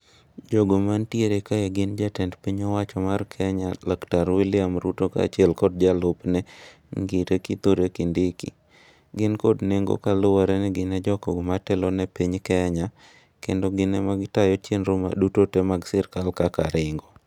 Jogo mantiere kae gin jatend piny owacho mar kenya laktar William Ruto ka achiel kod jalupne ng'ire Kithure Kindiki gin kod nego kaluwore ni gin jogo matelone piny kenya kendo gin ema gitayo chenro duto te mag sirikal kaka ring'o